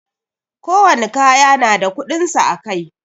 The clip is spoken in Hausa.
Ko wani kaya na da kudinsa a Kai.